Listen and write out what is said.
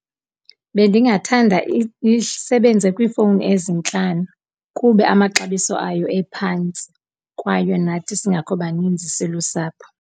Bendingathanda isebenze kwiifowuni ezintlanu kuba amaxabiso ayo ephantsi kwaye nathi singekho baninzi silusapho.